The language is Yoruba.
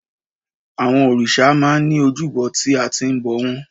Àwọn òrìṣà máa ń ní ojúbọ tí a ti ń bọ̀ wọ́n.